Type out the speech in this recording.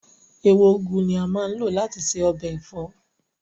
Ewé úgú ni a máa ń lò láti ṣe ọbẹ̀ ẹ̀fọ́